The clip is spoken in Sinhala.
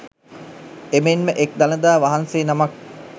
එමෙන් ම එක් දළදා වහන්සේ නමක්